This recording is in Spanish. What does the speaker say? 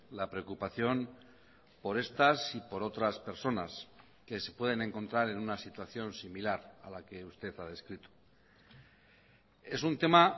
la preocupación por estas y por otras personas que se pueden encontrar en una situación similar a la que usted ha descrito es un tema